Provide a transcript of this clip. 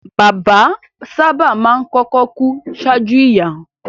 Bàbá sábà máa ń kọ́kọ́ ku ṣáájú ìyá